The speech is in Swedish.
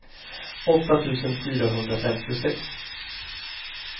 åtta tusen fyrahundrafemtiosex